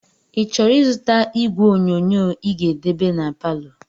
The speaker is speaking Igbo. i chọrọ izụta ìgwè onyonyoo i ga-edebe n'paló?